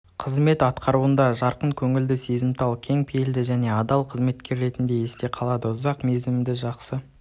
қызмет атқаруында жарқын көңілді сезімтал кең пейілді және адал қызметкер ретінде есте қалды ұзақ мерзімді жақсы